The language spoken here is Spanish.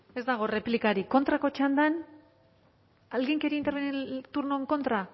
ez dago erreplikarik kontrako txandan alguien quería intervenir en el turno en contra